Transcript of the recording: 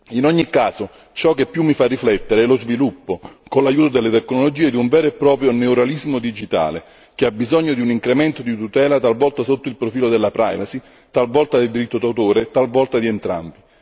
In ogni caso, ciò che più mi fa riflettere è lo sviluppo, con l'aiuto delle tecnologie, di un vero e proprio neorealismo digitale che ha bisogno di un incremento di tutela talvolta sotto il profilo della privacy, talvolta del diritto di autore e talvolta di entrambi.